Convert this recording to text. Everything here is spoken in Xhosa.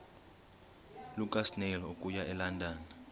lukasnail okuya elondon